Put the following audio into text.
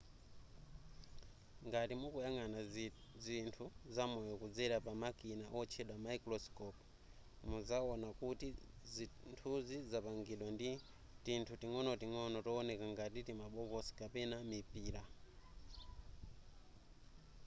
ngati mukuyang'ana zinthu zamoyo kudzera pamakina otchedwa mayikurosikopu muzaona kuti zinthuzi zapangidwa ndi tinthu ting'onoting'ono towoneka ngati timabokosi kapena mipira